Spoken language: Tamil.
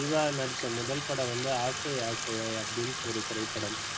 ஜீவா நடிச்ச முதல் படம் வந்து ஆசை ஆசையாய் அப்படினு ஒரு திரைப்படம்